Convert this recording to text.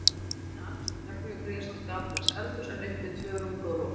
Á hæðinni er annað stórt herbergi og gríðarstórt gamaldags eldhús, en uppi tvö rúmgóð loft.